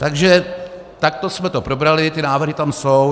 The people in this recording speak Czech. Takže takto jsme to probrali, ty návrhy tam jsou.